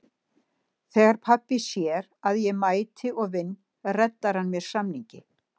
Þegar pabbi sér að ég mæti og vinn reddar hann mér samningi.